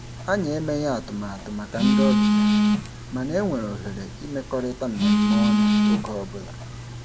Anyị emeghị atụmatụ maka ndị obịa, mana e nwere ohere imekọrịta mmemme ọnụ oge ọbụla.